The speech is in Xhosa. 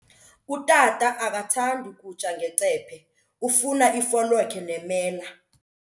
Utata akathandi kutya ngecephe, ufuna ifolokhwe nemela.